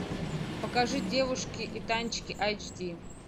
покажи девушки и танчики айч ди